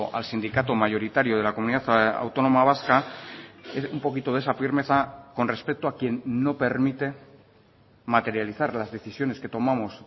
al sindicato mayoritario de la comunidad autónoma vasca un poquito de esa firmeza con respecto a quien no permite materializar las decisiones que tomamos